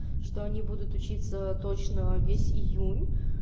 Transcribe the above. что они будут учиться точного весь июнь